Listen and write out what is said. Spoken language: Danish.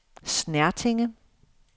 Snertinge